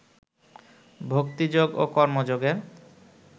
ভক্তিযোগ ও কর্মযোগের